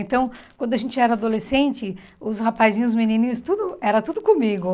Então, quando a gente era adolescente, os rapazinhos, os menininhos, tudo era tudo comigo.